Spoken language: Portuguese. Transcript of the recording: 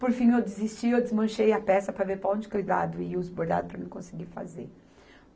Por fim, eu desisti, eu desmanchei a peça para ver para onde, que lado ia os bordados para mim conseguir fazer.